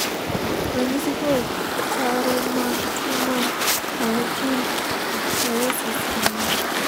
ranyisi kod chal mag tuo mar harlekuin ichthyosis gin mage?